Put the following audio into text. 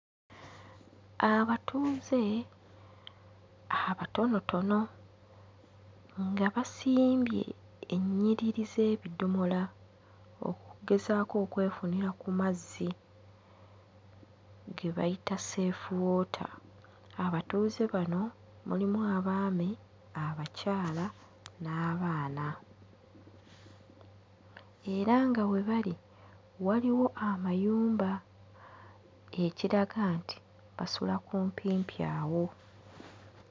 Abatuuze abatonotono nga basimbye ennyiriri z'ebidomola okugezaako okwefunira ku mazzi ge bayita Safe Water. Abatuuze bano mulimu abaami abakyala n'abaana era nga we bali waliwo amayumba ekiraga nti basula kumpimpi awo.